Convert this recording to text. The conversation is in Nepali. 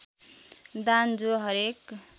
दान जो हरेक